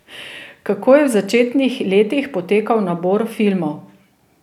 Kako je v začetnih letih potekal nabor filmov?